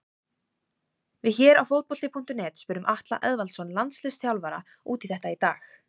Við hér á Fótbolti.net spurðum Atla Eðvaldsson landsliðsþjálfara út í þetta í dag.